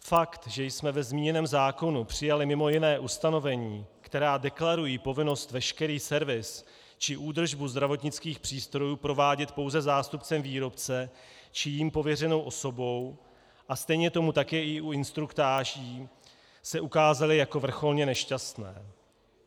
Fakt, že jsme ve zmíněném zákonu přijali mimo jiné ustanovení, která deklarují povinnost veškerý servis či údržbu zdravotnických přístrojů provádět pouze zástupcem výrobce či jím pověřenou osobou, a stejně tomu tak je u instruktáží, se ukázaly jako vrcholně nešťastné.